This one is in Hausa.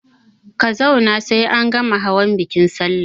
Ka zauna sai an gama hawan bikin salla!